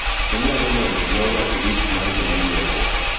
Inyalo medo Gloria e list mar joma nyiepo